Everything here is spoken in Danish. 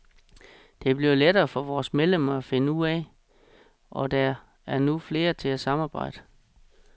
Det bliver lettere for vore medlemmer at finde ud af, og der er nu flere til at samarbejde.